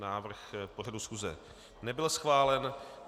Návrh pořadu schůze nebyl schválen.